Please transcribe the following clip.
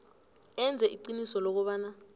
enze iqiniso lokobana